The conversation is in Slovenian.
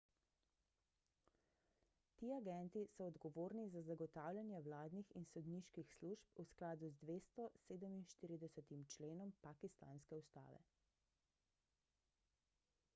ti agenti so odgovorni za zagotavljanje vladnih in sodniških služb v skladu z 247 členom pakistanske ustave